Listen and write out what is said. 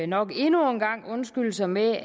nok endnu en gang undskylde sig med